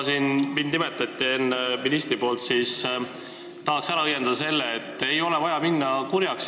Kuna minister minu nime nimetas, siis tahan ära õiendada selle, et ei ole vaja minna kurjaks.